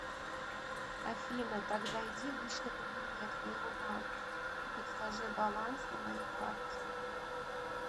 афина так зайди в личный кабинет моего банка и подскажи баланс на моей карте